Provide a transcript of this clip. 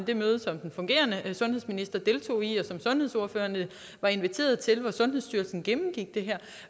det møde som den fungerende sundhedsminister deltog i og som sundhedsordførerne var inviteret til hvor sundhedsstyrelsen gennemgik det her